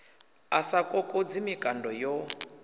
a sa kokodzi mikando yo